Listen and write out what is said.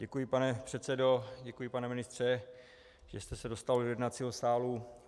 Děkuji, pane předsedo, děkuji, pane ministře, že jste se dostavil do jednacího sálu.